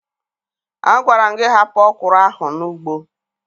Agwara m gị hapụ ọkwụrụ ahụ n'ugbo!